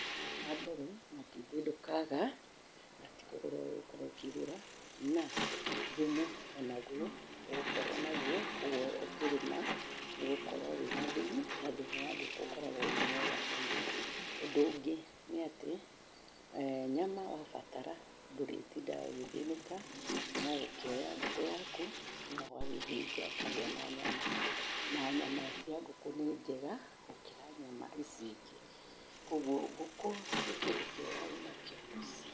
Wa mbere matumbĩ ndũkaga na tĩkũgũra ũgũkorwo kũgũra na thumu o naguo ũgũkorwo naguo, ũguo ũkĩrĩma nĩũgũkorwo wĩna thumu na thumu wa ngũkũ ũkoragwo wĩ mwega mũno. Ũndũ ũngĩ nĩ atĩ nyama wa batara ndũrĩtindaga ũgĩthĩnĩka no gũkĩoya ngũkũ yaku na ũgagĩthĩnja ũkagĩa na nyama, na nyama cia ngũkũ nĩ njega gũkĩra nyama ici ingĩ. Koguo ngũkũ nĩ kĩndũ kĩega wĩnakĩo mũciĩ.